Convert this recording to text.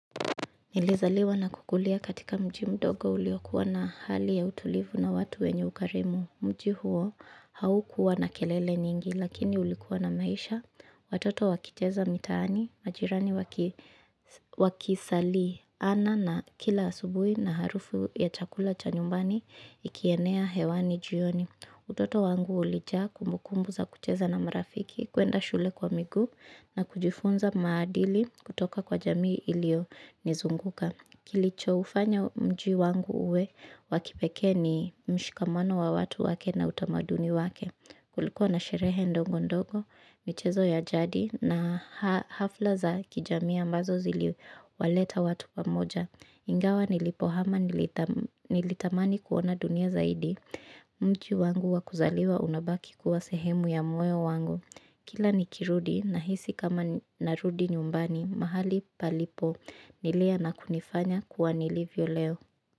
Nilizaliwa na kukulia katika mji mdogo uliokuwa na hali ya utulivu na watu wenye ukarimu. Mji huo haukuwa na kelele nyingi lakini ulikuwa na maisha. Watoto wakicheza mitaani, majirani wakisaliana na kila asubuhi na harufu ya chakula cha nyumbani ikienea hewani jioni. Utoto wangu ulijaa kumbukumbu za kucheza na marafiki, kwenda shule kwa miguu na kujifunza maadili kutoka kwa jamii iliyonizunguka. Kilichoufanya mji wangu uwe wa kipekee ni mshikamano wa watu wake na utamaduni wake. Kulikuwa na sherehe ndogo ndogo michezo ya jadi na hafla za kijamii ambazo ziliwaleta watu pamoja ingawa nilipohama nilitamani kuona dunia zaidi. Mji wangu wa kuzaliwa unabaki kuwa sehemu ya moyo wangu. Kila nikirudi nahisi kama narudi nyumbani mahali palipo nilea na kunifanya kuwa nilivyo leo.